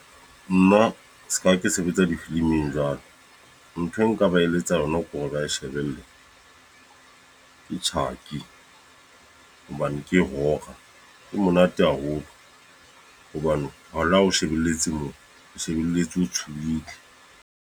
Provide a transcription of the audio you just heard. Nna seka ke sebetsa difiliming jwalo. Nthwe nka ba eletsa yona ke hore ba e shebelle, ke Tjhaki. Hobane ke hora. E monate haholo. Hobane le ha o shebelletse moo, o shebelletse o tshohile.